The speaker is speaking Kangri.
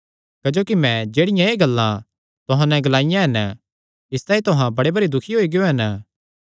क्जोकि मैं जेह्ड़ियां एह़ गल्लां तुहां नैं ग्लाईयां हन इसतांई तुहां बड़े भरी दुखी होई गियो हन